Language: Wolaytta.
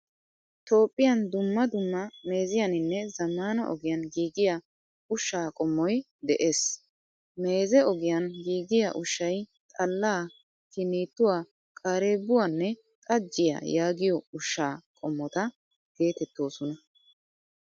Toophphiyan dumma dumma meeziyaninne zamaana ogiyan giigiyaa ushsha qommoy de'ees. Meezee ogiyan giigiyaa ushshay xalla, kinituwaa, qarebuwanne xajiyaa yaagiyo ushshaa qommota geetettoosona.